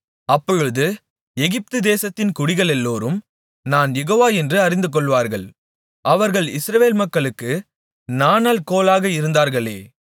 அப்பொழுது எகிப்துதேசத்தின் குடிகளெல்லோரும் நான் யெகோவா என்று அறிந்துகொள்வார்கள் அவர்கள் இஸ்ரவேல் மக்களுக்கு நாணல் கோலாக இருந்தார்களே